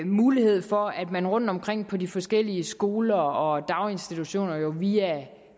mulighed for at man rundtomkring på de forskellige skoler og daginstitutioner via